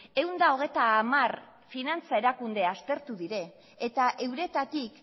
ehun eta hogeita hamar finantza erakunde aztertu dira eta euretatik